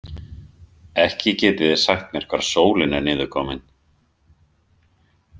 Ekki getiði sagt mér hvar sólin er niðurkomin.